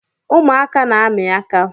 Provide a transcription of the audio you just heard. Ụmụaka na-ami aka